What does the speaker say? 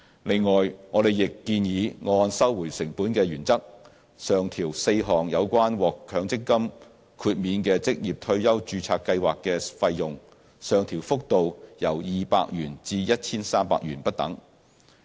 此外，我們亦建議按收回成本的原則，上調4項有關獲強積金豁免的職業退休註冊計劃的費用，上調幅度由200元至 1,300 元不等。